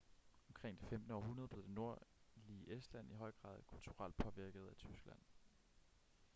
omkring det 15. århundrede blev det nordlige estland i høj grad kulturelt påvirket af tyskland